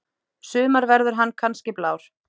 sumar verður hann kannski blár.